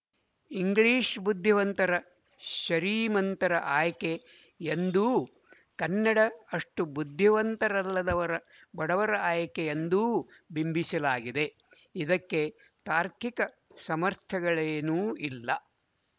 English ಬುದ್ಧಿವಂತರ ಶರೀಮಂತರ ಆಯ್ಕೆ ಎಂದೂ ಕನ್ನಡ ಅಷ್ಟು ಬುದ್ಧಿವಂತರಲ್ಲದವರ ಬಡವರ ಆಯ್ಕೆ ಎಂದೂ ಬಿಂಬಿಸಲಾಗಿದೆ ಇದಕ್ಕೆ ತಾರ್ಕಿಕ ಸಮರ್ಥನೆಗಳೇನೂ ಇಲ್ಲ